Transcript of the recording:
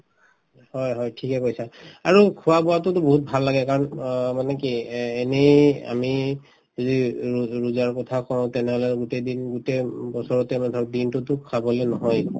হয় হয় ঠিকে কৈছা আৰু খোৱা-বোৱাতোতো বহুত ভাল লাগে কাৰণ অ মানে কি এ এনেই আমি যি ৰো ৰোজাৰ কথা কওঁ তেনেহলে গোটেই দিন গোটেই উম বছৰতে ধৰক দিনতোতো খাবলৈ নহয়ে একো